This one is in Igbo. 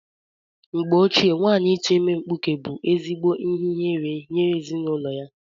Mgbe gboo nwaanyị ịtu ime mkpụke bu ezigbo ihe ihere nye ezinụlọ ya.